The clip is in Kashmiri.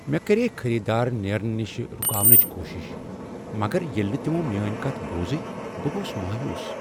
مےٚ کرییہ خریدارن نیرنہٕ نش رکاونٕچ کوشش مگر ییٚلہ نہٕ تمو میٛٲنۍ کتھ بوٗزٕے، بہٕ گوس مایوس۔